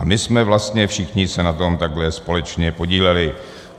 A my jsme vlastně všichni se na tom takhle společně podíleli.